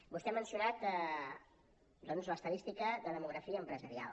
vostè ha mencionat doncs l’estadística de demografia empresarial